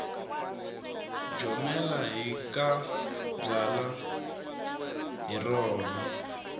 jomela hi ka byalwa hi rona